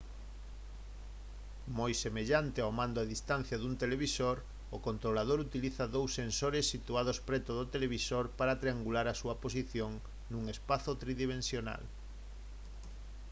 moi semellante ao mando a distancia dun televisor o controlador utiliza dous sensores situados preto do televisor para triangular a súa posición nun espazo tridimensional